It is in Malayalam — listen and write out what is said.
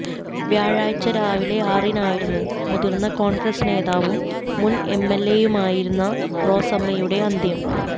വ്യാഴാഴ്ച്ച രാവിലെ ആറിനായിരുന്നു മുതിര്ന്ന കോണ്ഗ്രസ് നേതാവും മുന് എംഎല്എയുമായിരുന്ന റോസമ്മയുടെ അന്ത്യം